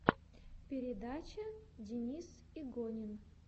передача денис игонин